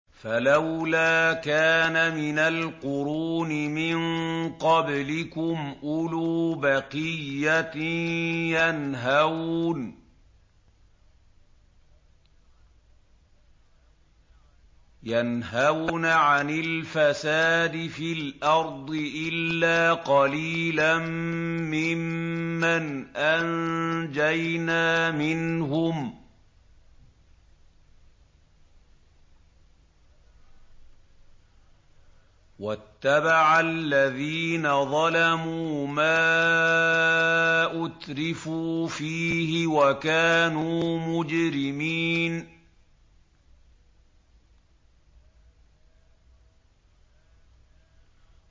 فَلَوْلَا كَانَ مِنَ الْقُرُونِ مِن قَبْلِكُمْ أُولُو بَقِيَّةٍ يَنْهَوْنَ عَنِ الْفَسَادِ فِي الْأَرْضِ إِلَّا قَلِيلًا مِّمَّنْ أَنجَيْنَا مِنْهُمْ ۗ وَاتَّبَعَ الَّذِينَ ظَلَمُوا مَا أُتْرِفُوا فِيهِ وَكَانُوا مُجْرِمِينَ